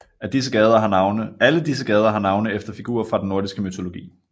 Alle disse gader har navne efter figurer fra den nordiske mytologi